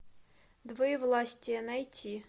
двоевластие найти